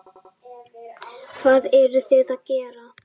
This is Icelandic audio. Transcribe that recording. Hvað eruð þið að gera?